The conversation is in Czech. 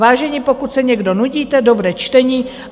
Vážení, pokud se někdo nudíte, dobré čtení.